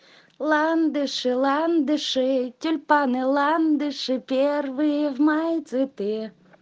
ландыши ландыши тюльпаны ландыши первые в мае цветы